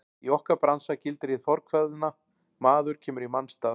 Í okkar bransa gildir hið fornkveðna: Maður kemur í manns stað.